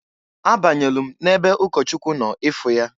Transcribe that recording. A banyelu m n'ebe ụkọchụkwụ nọ ịfụ ya.